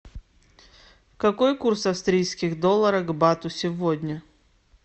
какой курс австрийских долларов к бату сегодня